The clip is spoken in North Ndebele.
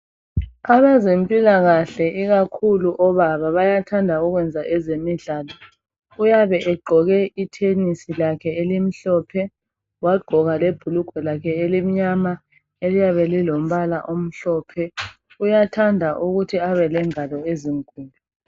Abezempilakahle ikakhulu obaba bayathanda ukwenza ezemidlalo uyabe egqoke ithenisi lakhe elimhlophe wagqoka lebhulugwa lakhe elimnyama eliyabe lilombala omhlophe uyathanda ukuthi abe lengalo ezinkulu